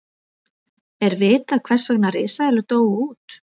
er vitað hvers vegna risaeðlur dóu út